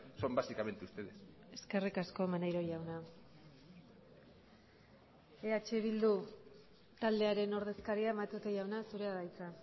son básicamente ustedes eskerrik asko maneiro jauna eh bildu taldearen ordezkaria matute jauna zurea da hitza